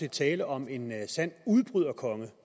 at tale om en sand udbryderkonge